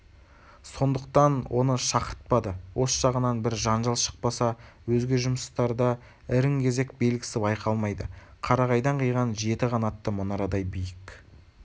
сондықтан оны шақыртпады осы жағынан бір жанжал шықпаса өзге жұмыстарда ірің-кезек белгісі байқалмайды қарағайдан қиған жеті қанатты мұнарадай биік